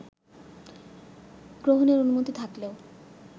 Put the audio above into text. গ্রহণের অনুমতি থাকলেও